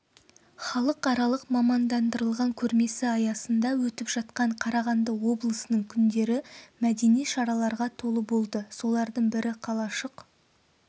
халықаралық мамандандырылған көрмесі аясында өтіп жатқан қарағанды облысының күндері мәдени шараларға толы болды соларың бірі қалашық